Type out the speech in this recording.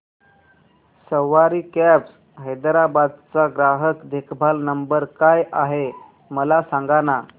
सवारी cabs Hyderabad चा ग्राहक देखभाल नंबर काय आहे मला सांगाना